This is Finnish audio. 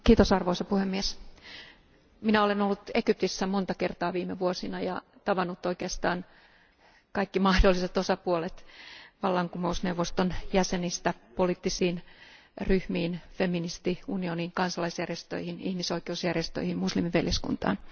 Arvoisa puhemies, minä olen ollut Egyptissä monta kertaa viime vuosina ja tavannut oikeastaan kaikki mahdolliset osapuolet vallankumousneuvoston jäsenistä poliittisiin ryhmiin, feministiunioniin, kansalaisjärjestöihin, ihmisoikeusjärjestöihin ja muslimiveljeskuntaan.